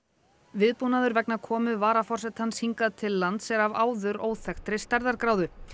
viðbúnaður vegna komu varaforsetans hingað til lands er af áður óþekktri stærðargráðu